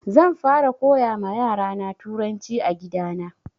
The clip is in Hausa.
Zan fara koya ma yara na turanci a gida na